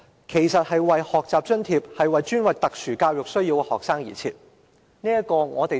其實，這個學習津貼本身是專為有特殊教育需要的學生而設。